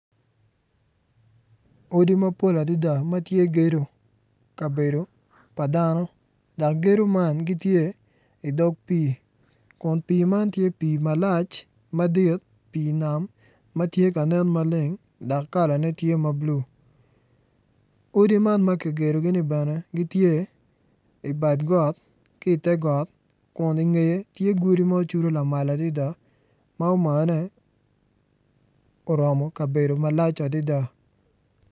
Odi mapol adada ma tye gedo kabedo pa dano dok gedo ma gitye i dog pii kun pii man tye pii malac madit pii nam ma tye ka nen maleng dok kalane tye mabulu odi man ma kigedogi ni bene gitye i badgot ki i te got kun i ngeye tye godi ma ocudu lamal adada ma omane oromo kabedo malac adada.